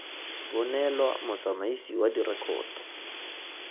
bo neelwa motsamaisi wa direkoto